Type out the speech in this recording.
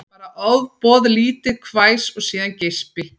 Bara ofboðlítið hvæs og síðan geispi